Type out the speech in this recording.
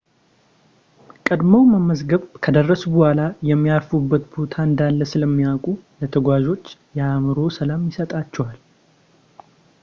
ቀድመው መመዝገብ ከደረሱ በኋላ የሚያርፉበት ቦታ እንዳለ ስለሚያውቁ ለተጓዦች የአእምሮ ሰላም ይሰጣቸዋል